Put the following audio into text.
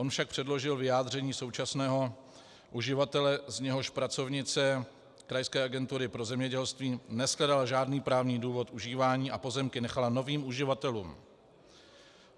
On však předložil vyjádření současného uživatele, z něhož pracovnice krajské agentury pro zemědělství neshledala žádný právní důvod užívání a pozemky nechala novým uživatelům.